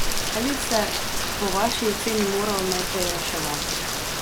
Kaj bi se po vaši oceni moralo najprej reševati?